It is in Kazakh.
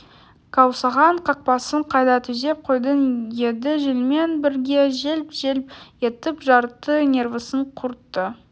қаусаған қақпасын қайта түзеп қойып еді желмен бірге желп желп етіп жарты нервісін құртты